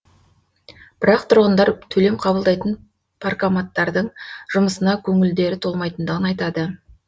бірақ тұрғындар төлем қабылдайтын паркоматтардың жұмысына көңілдері толмайтындығын айтады